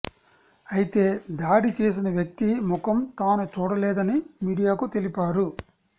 అయితే దాడి చేసిన వ్యక్తి ముఖం తాను చూడలేదని మీడియాకు తెలిపారు